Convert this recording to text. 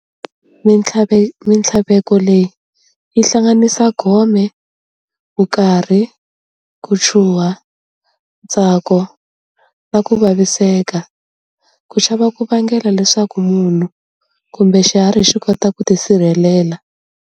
Minthlaveko leyi yi hlanganisa gome, vukarhi, ku chuha, ntsako, na ku vaviseka. Ku chava ku vangela leswaku munhu kumbe xiharhi xikota ku tisirhelela.